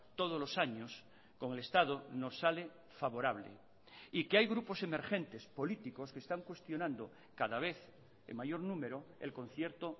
todos los años con el estado nos sale favorable y que hay grupos emergentes políticos que están cuestionando cada vez en mayor número el concierto